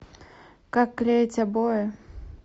как клеить обои